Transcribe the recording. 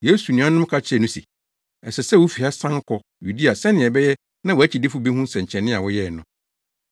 Yesu nuanom ka kyerɛɛ no se, “Ɛsɛ sɛ wufi ha san kɔ Yudea sɛnea ɛbɛyɛ na wʼakyidifo behu nsɛnkyerɛnne a woyɛe no.